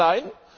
Ja oder nein?